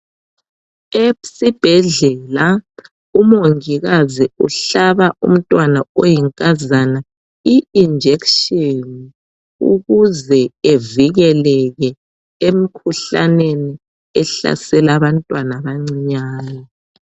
Esibhedlela umongikazi uhlaba umntwana oyinkazana I injection ukuze evikeleke emikhuhlaneni ehlasela abantwana abancinyane.